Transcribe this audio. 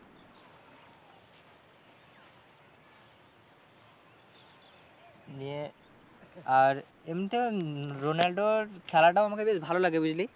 নিয়ে আর এমনিতে রোলান্ডর খেলাটাও আমাকে বেশ ভালো লাগে বুঝলি।